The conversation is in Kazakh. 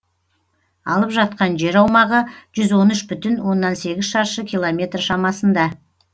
алып жатқан жер аумағы жүз он үш бүтін оннан сегіз шаршы километр шамасында